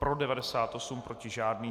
Pro 98, proti žádný.